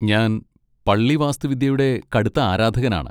ഞാൻ പള്ളി വാസ്തുവിദ്യയുടെ കടുത്ത ആരാധകനാണ്.